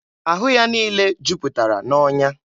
Ahụ ya niile juputara n'ọnya.